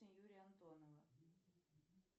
юрия антонова